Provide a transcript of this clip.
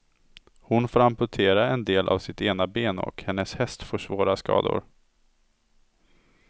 Hon får amputera en del av sitt ena ben och hennes häst får svåra skador.